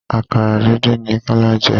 Àkàrà díndín ni Kọ́lá jẹ.